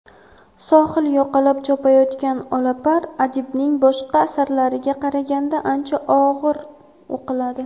"Sohil yoqalab chopayotgan olapar" adibning boshqa asarlariga qaraganda ancha og‘ir o‘qiladi.